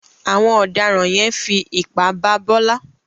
Àwọn ọ̀daràn yẹn fi ipá bá Bọ́lá.